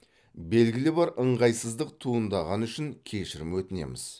белгілі бір ыңғайсыздық туындағаны үшін кешірім өтінеміз